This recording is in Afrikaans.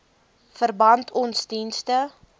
verband ons dienste